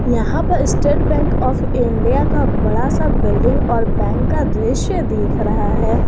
यहां पर state bank of India का बड़ा सा बिल्डिंग और बैंक का दृश्य दिख रहा है।